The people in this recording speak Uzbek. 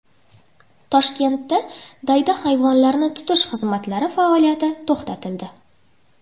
Toshkentda daydi hayvonlarni tutish xizmatlari faoliyati to‘xtatildi.